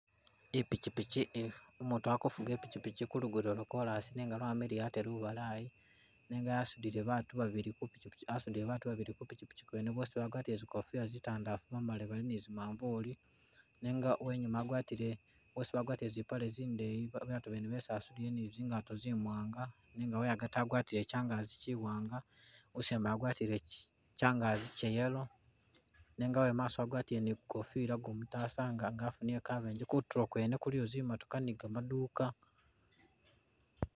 Ipichipichi ihi- umutu akufuga ipichipichi ku lugudo lwa korasi nenga lwamiliya ate lubalayi nenga asudile batu babili ku pichipichi asudile batu babili ku pichipichi kwene bosi ba gwatile zikofila zitandafu bamalile bali nizi manvulu nenga uwenyuma agwatile bosi bagwatile zipale zindeyi batu bene besi asudile nizingato zi mwanga nega we agati agwatile kyangagi kyiwanga usembayo wagwatile kyangagi Kya yellow nega uwemaso wagwatile nikukofila kumutasa nga wafunile kabenje kutulo kwene kuliyo zimotoka nika maduka.